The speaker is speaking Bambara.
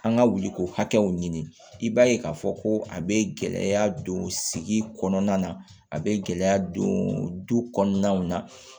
An ka wuli ko hakɛw ɲini i b'a ye k'a fɔ ko a bɛ gɛlɛya don sigi kɔnɔna na a bɛ gɛlɛya don du kɔnɔnaw na